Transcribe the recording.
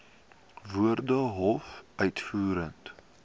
woorde hoof uitvoerende